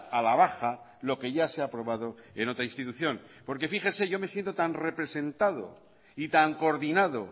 a la baja lo que ya se ha aprobado en otra institución porque fíjese yo me siento tan representado y tan coordinado